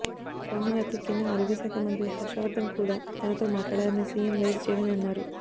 సోమవారం రాత్రి కేంద్ర ఆరోగ్య శాఖ మంత్రి హర్షవర్దన్ కూడా తనతో మాట్లాడారని సీఎం వైఎస్ జగన్ అన్నారు